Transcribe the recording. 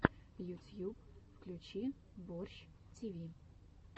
ютьюб включи борщ тиви